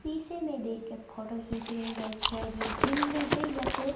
शीशे में देखके फोटो खींच रहे हैं गाइस शायद ये जिम में हैं या तो--